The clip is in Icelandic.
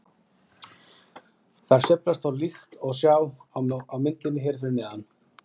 Þær sveiflast þó til líkt og sjá má á myndinni hér fyrir neðan.